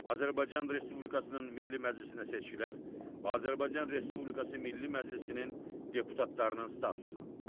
Azərbaycan Respublikasının Milli Məclisinə seçkilər və Azərbaycan Respublikası Milli Məclisinin deputatlarının statusu.